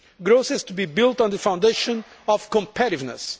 Growth has to be built on the foundation of competitiveness.